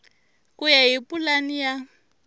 ku ya hi pulani ya